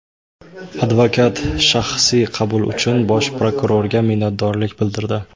Advokat shaxsiy qabul uchun Bosh prokurorga minnatdorlik bildirdi.